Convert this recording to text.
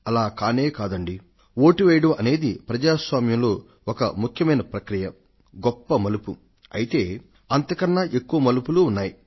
అలా కానే కాదండీ వోటు వేయడం అనేది ప్రజాస్వామ్యంలో ఒక ముఖ్యమైన ప్రక్రియ గొప్ప మలుపు అయితే అంతకన్నా ఎక్కువ మలుపులూ ఉన్నాయి